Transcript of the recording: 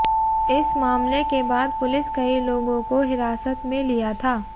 इस मामले के बाद पुलिस कई लोगों को हिरासत में लिया था